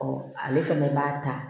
ale fɛnɛ b'a ta